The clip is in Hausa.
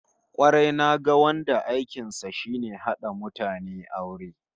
Kwarai, naga wanda aikin sa shine hada mutane aure